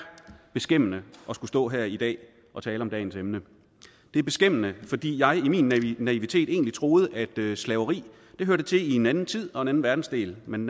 beskæmmende at skulle stå her i dag og tale om dagens emne det er beskæmmende fordi jeg i min naivitet egentlig troede at slaveri hørte til i en anden tid og en anden verdensdel men